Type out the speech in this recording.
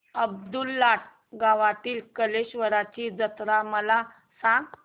अब्दुललाट गावातील कलेश्वराची जत्रा मला सांग